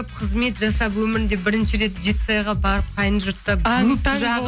қызмет жасап өмірінде бірінші рет жетісайға барып қайын жұртта